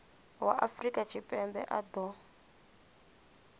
wa afrika tshipembe a ṱo